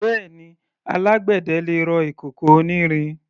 Bẹ́ẹ̀ni, alágbẹ̀dẹ lè rọ ìkòkò onírin.